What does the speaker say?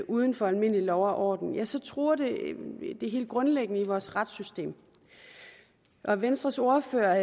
uden for almindelig lov og orden så truer det det helt grundlæggende i vores retssystem og venstres ordfører